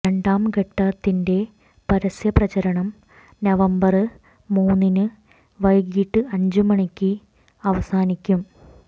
രണ്ടാംഘട്ടത്തിന്റെ പരസ്യ പ്രചരണം നവംബര് മൂന്നിന് വൈകിട്ട് അഞ്ച് മണിക്ക് അവസാനിക്കും